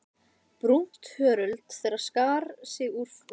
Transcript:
Brúnt hörund þeirra skar sig úr fölleitri fólksmergðinni.